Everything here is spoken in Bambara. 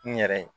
N yɛrɛ ye